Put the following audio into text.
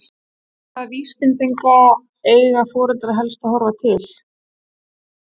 En hvaða vísbendinga eiga foreldrar helst að horfa til?